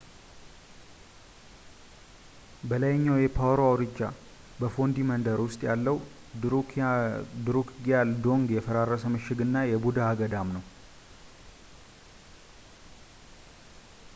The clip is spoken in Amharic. በላይኛው የፓሮ አውራጃ በፎንዲ መንደር ውስጥ ያለው ድሩክግያል ዶንግ የፈራረሰ ምሽግ እና የቡድሃ ገዳም ነው